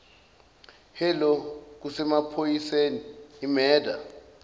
hello kusemaphoyiseni imurder